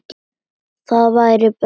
Það væri best.